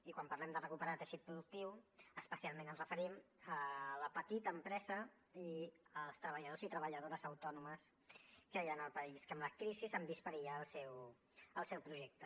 i quan parlem de recuperar teixit productiu especialment ens referim a la petita empresa i als treballadors i treballadores autònomes que hi han al país que amb la crisi han vist perillar el seu projecte